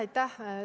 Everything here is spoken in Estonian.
Aitäh!